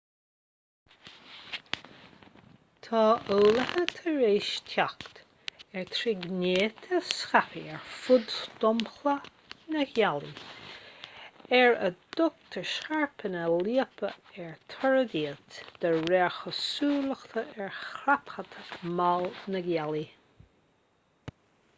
tá eolaithe tar éis teacht ar thírghnéithe scaipthe ar fud dhromchla na gealaí ar a dtugtar scairpeanna liopa ar toradh iad de réir cosúlachta ar chrapadh mall na gealaí